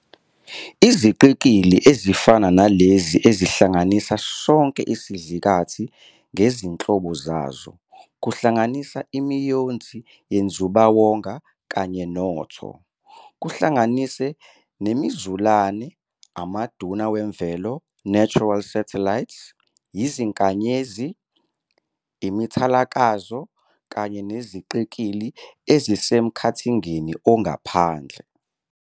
Iziqikili ezifana nalezinzihlanganisa sonke isidlakathi ngezinhlobo zazo, kuhlanganisa imiyonzi yenzubawonga kanye noTho, kuhlanganise nemizulane, amaduna wemvelo "natural satellites", izinkanyezi, imithalakazo, kanye neziqikili ezisemkhathingeni ongaphandle.